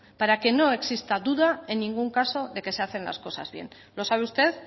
para que no exista duda en ningún caso de que se hacen las cosas bien lo sabe usted